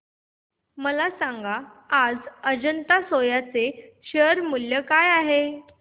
मला सांगा आज अजंता सोया चे शेअर मूल्य काय आहे